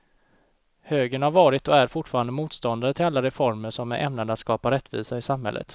Högern har varit och är fortfarande motståndare till alla reformer som är ämnade att skapa rättvisa i samhället.